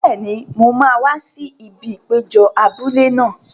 Bẹ́ẹ̀ni, mo máa wá sí ibi ìpéjọ abúlé náà.